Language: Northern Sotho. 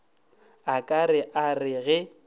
a ka a re ge